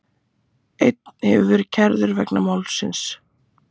Einn hefur verið kærður vegna málsins